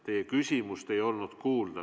Teie küsimust ei olnud kuulda.